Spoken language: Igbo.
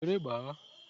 Were gbaa!